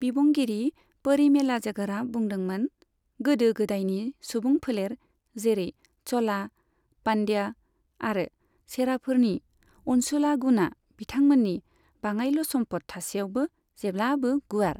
बिबुंगिरि परिमेलाझगरआ बुंदोंमोन गोदो गोदायनि सुबुं फोलेर, जेरै च'ला, पान्ड्या आरो चेराफोरनि अनसुला गुना बिथांमोननि बाङाइल' सम्फद थासेयावबो जेब्लाबो गुवार।